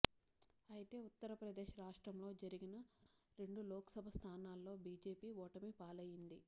అయితే ఉత్తర్ప్రదేశ్ రాష్ట్రంలో జరిగిన రెండు లోక్సభ స్థానాల్లో బిజెపి ఓటమి పాలైంది